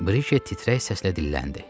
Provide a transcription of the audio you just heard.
Brikey titrək səslə dilləndi.